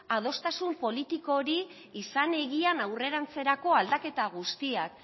adostasun politiko hori izan egian aurrerantzerako aldaketa guztiak